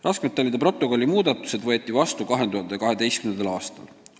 Raskmetallide protokolli muudatused võeti vastu 2012. aastal.